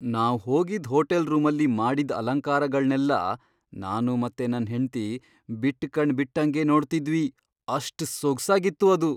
ನಾವ್ ಹೋಗಿದ್ ಹೋಟೆಲ್ ರೂಮಲ್ಲಿ ಮಾಡಿದ್ದ್ ಅಲಂಕಾರಗಳ್ನೆಲ್ಲ ನಾನು ಮತ್ತೆ ನನ್ ಹೆಂಡ್ತಿ ಬಿಟ್ ಕಣ್ ಬಿಟ್ಟಂಗೇ ನೋಡ್ತಿದ್ವಿ, ಅಷ್ಟ್ ಸೊಗ್ಸಾಗಿತ್ತು ಅದು!